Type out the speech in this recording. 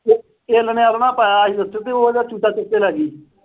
ਤੇ ਇੱਲ ਨੇ ਆਲਣਾ ਪਾਇਆ ਸੀ ਇੱਥੇ ਤੇ ਉਹ ਉਹਦਾ ਚੂਚਾ ਚੁੱਕ ਕੇ ਲੈ ਗਈ।